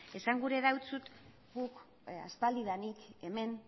esan gura dizut guk aspaldidanik hemen